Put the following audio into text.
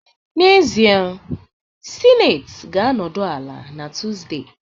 N'ezie, Senate ga-anọdụ ala na Tuesday